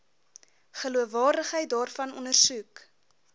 geloofwaardigheid daarvan ondersoek